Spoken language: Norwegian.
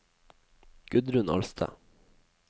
Gudrun Alstad